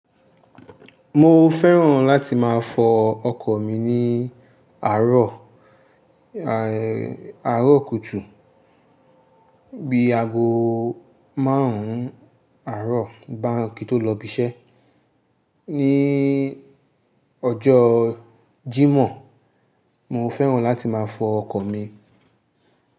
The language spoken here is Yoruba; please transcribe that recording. Mo fẹ́ràn láti máa fọ ọkọ̀ mi ní àárọ̀, àárọ̀ kùtù bi aago márùn-ún àárọ̀ bá kí ó tó lọ ibi iṣẹ́. Ni ọjọ́ Jímọ̀, mo fẹ́ràn láti máa fọ ọkọ̀ mi.